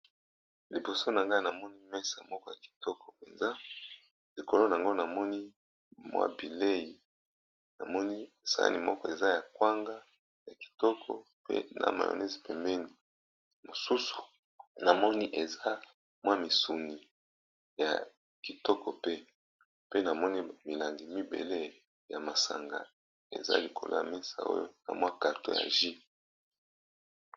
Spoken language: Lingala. LIboso na ngai na moni mesa moko ya kitoko mpenza likolo nango namoni mwabile, namoni sani moko eza ya kwanga ya kitoko pe na mionese, pembeni, mosusu na moni eza mwa misuni ya kitoko pe pe namoni milangi mibele ya masanga eza likolo ya mesa oyo na mwa karto ya jus.